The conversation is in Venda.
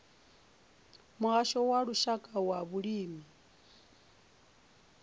muhasho wa lushaka wa vhulimi